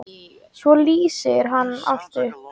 Svo lýsir hann allt upp.